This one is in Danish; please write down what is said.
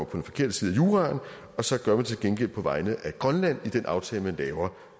den forkerte side af juraen og så gør man det til gengæld på vegne af grønland i den aftale man laver